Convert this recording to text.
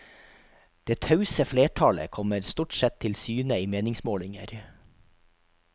Det tause flertallet kommer stort sett til syne i meningsmålinger.